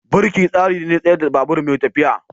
Birki tsari ne na tsayar da babur mai tafiya.